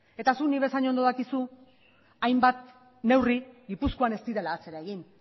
eta zuk nik bezain ondo dakizu hainbat neurri gipuzkoan ez direla atzera egin